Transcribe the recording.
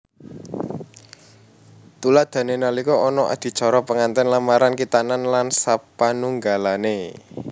Tuladhané nalika ana adicara pengantènan lamaran khitanan lan sapanunggalané